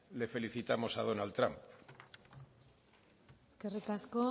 le felicitamos a donald trump eskerrik asko